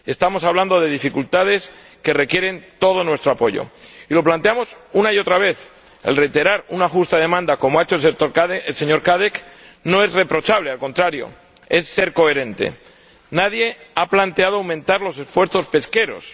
estamos hablando de dificultades que requieren todo nuestro apoyo y lo planteamos una y otra vez —el reiterar una justa demanda, como ha hecho el señor Cadec, no es reprochable, al contrario, es ser coherente—. Nadie ha planteado aumentar los esfuerzos pesqueros